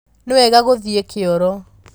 Nĩwega gũthiĩkĩoro.